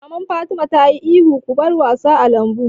Mamar Fatima ta yi ihun 'Ku bar wasa a lambun'!